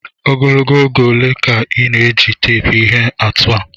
Ogologo oge ole ka ị na-eji teepu ihe atụ a?